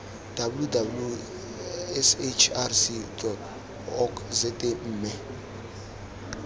www sahrc org za mme